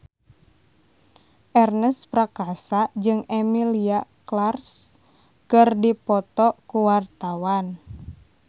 Ernest Prakasa jeung Emilia Clarke keur dipoto ku wartawan